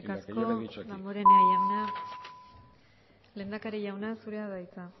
eskerrik asko damborenea jauna lehendakari jauna zurea da hitza